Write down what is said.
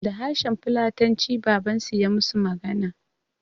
Da harshen fulatanci babansu ya musu magana